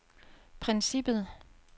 princippet